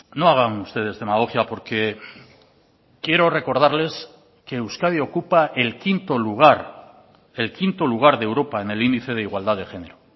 no hagan ustedes demagogia porque quiero recordarles que euskadi ocupa el quinto lugar el quinto lugar de europa en el índice de igualdad de género